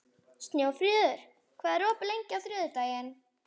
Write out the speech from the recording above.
Snjófríður, hvað er opið lengi á þriðjudaginn?